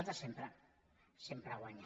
els de sempre sempre guanyen